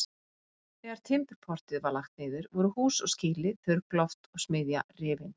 Þegar Timburportið var lagt niður voru hús og skýli, þurrkloft og smiðja rifin.